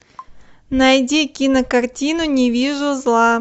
найди кинокартину не вижу зла